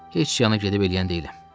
Heç yana gedib eləyən deyiləm.